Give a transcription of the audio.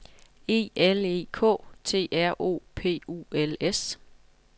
E L E K T R O P U L S